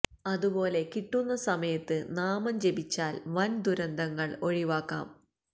അതുപോലെ കിട്ടുന്ന സമയത്ത് നാമം ജപിച്ചാല് വന് ദുരന്തങ്ങള് ഒഴിവാക്കാം